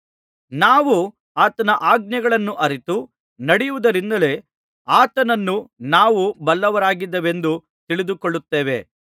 ನಾವು ಆತನ ಆಜ್ಞೆಗಳನ್ನು ಅರಿತು ನಡೆಯುವುದರಿಂದಲೇ ಆತನನ್ನು ನಾವು ಬಲ್ಲವರಾಗಿದ್ದೇವೆಂದು ತಿಳಿದುಕೊಳ್ಳುತ್ತೇವೆ